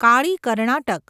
Kali Karnataka